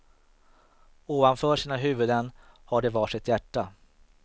Ovanför sina huvuden har de var sitt hjärta.